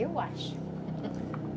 Eu acho